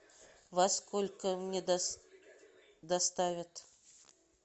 во сколько мне доставят